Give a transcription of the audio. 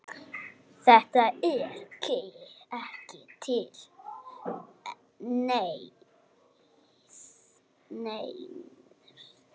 Þetta er ekki til neins.